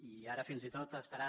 i ara fins i tot estarà